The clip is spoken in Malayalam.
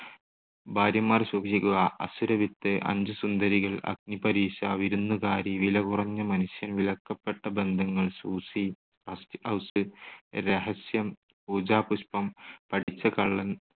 ഭാര്യമാർ സൂക്ഷിക്കുക, അസുരവിത്ത്, അഞ്ചു സുന്ദരികൾ, അഗ്നിപരീക്ഷ, വിരുന്നുകാരി, വില കുറഞ്ഞ മനുഷ്യൻ, വിലക്കപ്പെട്ട ബന്ധങ്ങൾ, സൂസി, റസ്റ്റ് ഹൗസ്, രഹസ്യം, പൂജാപുഷ്പം, പഠിച്ച കള്ളൻ